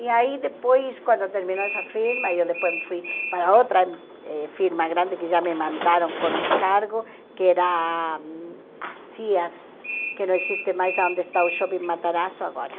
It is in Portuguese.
E aí depois, quando terminou essa firma, eu depois fui para outra eh firma grande, que já me mandaram com um cargo, que era a Sears, que não existe mais onde está o shopping Matarazzo agora.